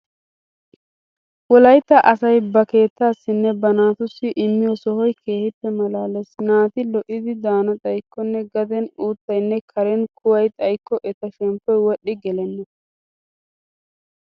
Wolaytta asay ba keettaassinne ba naatussi immiyo sohoy keehippe maalaalees. Naati lo"idi daana xaykkonne gaden uuttaynne Karen kuway xaykko eta shemppoy wodhdhi gelenna.